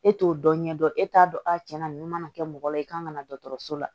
E t'o dɔn ɲɛdɔn e t'a dɔn a tiɲɛna nin mana kɛ mɔgɔ la i kan ka na dɔgɔtɔrɔso la